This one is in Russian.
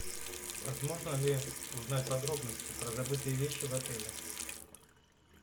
возможно ли узнать подробности про забытые вещи в отеле